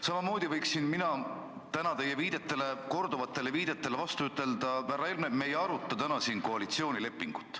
Samamoodi võiksin mina teie korduvate viidete peale vastu ütelda: härra Helme, me ei aruta täna siin koalitsioonilepingut.